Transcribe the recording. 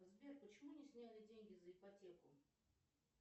сбер почему не сняли деньги за ипотеку